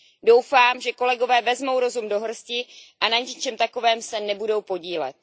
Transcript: Doufám, že kolegové vezmou rozum do hrsti a na něčem takovém se nebudou podílet.